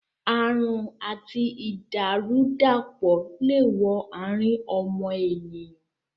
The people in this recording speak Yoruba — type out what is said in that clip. Àrùn àti ìdàrú-dàpọ̀ le wo àrín ọmọnìyàn